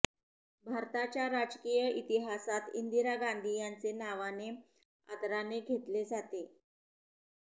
भारताच्या राजकीय इतिहासात इंदिरा गांधी यांचे नावाने आदराने घेतले जाते